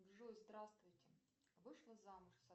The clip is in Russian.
джой здравствуйте вышла замуж